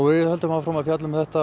við höldum áfram að fjalla um þetta